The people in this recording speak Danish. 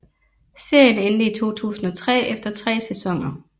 Serien endte i 2003 efter 3 sæsoner